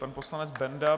Pan poslanec Benda.